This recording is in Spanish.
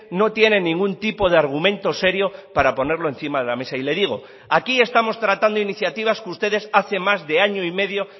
no tiene ningún tipo de argumento serio para ponerlo encima de la mesa y le digo aquí estamos tratando iniciativas que ustedes hace más de año y medio